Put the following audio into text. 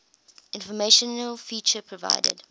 informational feature provided